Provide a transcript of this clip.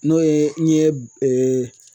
N'o ye n'i ye